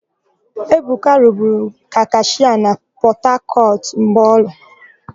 Ebuka rụburu ka kashịa na Pọtakọtụ mọlụ.